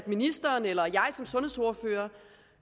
ministeren eller jeg som sundhedsordfører